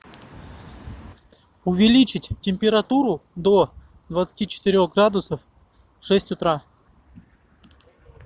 увеличить температуру до двадцати четырех градусов в шесть утра